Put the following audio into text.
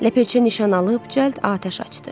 Ləpirçi nişan alıb cəld atəş açdı.